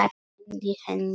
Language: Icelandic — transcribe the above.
Gleymdi henni svo.